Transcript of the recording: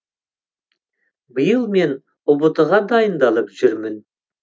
биыл мен ұбт ға дайындалып жүрмін